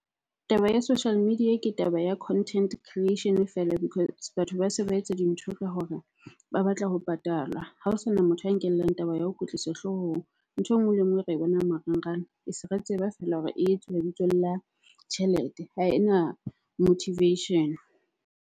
Taba ya social media ke taba ya content creation-e feela because batho ba se ba etsa dintho ka hore ba batla ho patalwa. Ha ho sana motho a nkellang taba ya ho kwetliswa hloohong. Ntho e nngwe le e nngwe re e bonang marangrang, e se re tseba feela hore e etsuwa bitsong la tjhelete. Ha ena motivation-e.